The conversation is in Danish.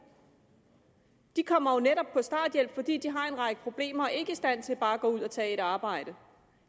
de kommer jo netop på starthjælp fordi de har en række problemer og ikke er i stand til bare at gå ud og tage et arbejde